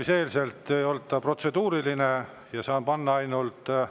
See ei olnud protseduuriline küsimus.